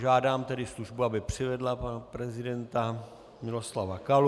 Žádám tedy službu, aby přivedla pana prezidenta Miloslava Kalu.